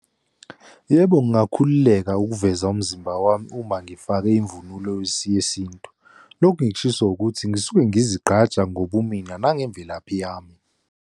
Yebo, ngingakhululeka ukuveza umzimba wami uma ngifake imvunulo yesintu. Lokhu ngikushiso ukuthi ngisuke ngizigqaja ngobumina nangemvelaphi yami.